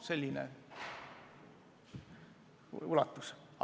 Selline ulatus siis.